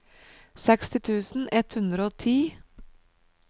seksti tusen ett hundre og ti